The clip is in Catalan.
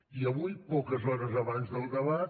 i avui poques hores abans del debat